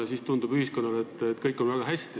Ja siis tundub ühiskonnale, et kõik on väga hästi.